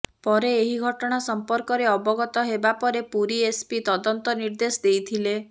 ପରେ ଏହି ଘଟଣା ସମ୍ପର୍କରେ ଅବଗତ ହେବାପରେ ପୁରୀ ଏସପି ତଦନ୍ତ ନିର୍ଦ୍ଦେଶ ଦେଇଥିଲେ